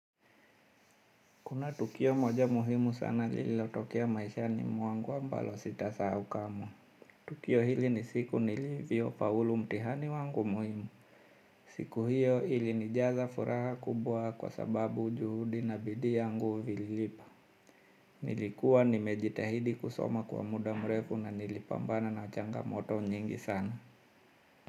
Kuna tukio moja muhimu sana lililo tokea maishani mwangu ambalo sitasahau kamwe. Tukio hili ni siku nilivyo faulu mtihani wangu muhimu. Siku hiyo ilinijaza furaha kubwa kwa sababu ujuhudi na bidii yangu vilipo. Nilikuwa nimejitahidi kusoma kwa muda mrefu na nilipambana na changamoto nyingi sana.